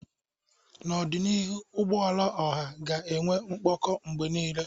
N'ọdịnihu, ụgbọala ọha ga-enwe mkpọkọ mgbe niile.